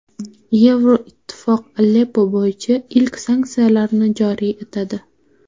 Yevroittifoq Aleppo bo‘yicha ilk sanksiyalarni joriy etadi.